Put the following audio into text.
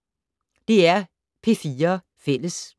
DR P4 Fælles